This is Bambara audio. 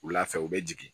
Wula fɛ u bɛ jigin